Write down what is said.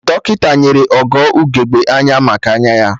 Dọkịta nyere Ogo ugegbe anya maka anya ya